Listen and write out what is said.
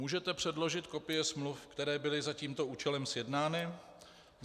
Můžete předložit kopie smluv, které byly za tímto účelem sjednány?